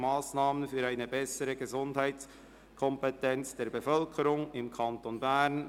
Massnahmen für eine bessere Gesundheitskompetenz der Bevölkerung im Kanton Bern».